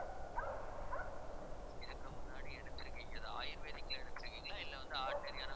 இதுக்கு முன்னாடி எடுத்திருக்கீங்க, அது ayurvedic ல எடுத்திருக்கீங்களா இல்ல வந்து ordinary யான